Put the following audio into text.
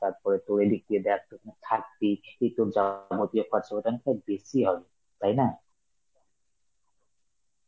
তারপরে তোর এই দিক দিয়ে দেখ তুই ওখানে থাকবি, এ তোর বেশি হবে, তাই না?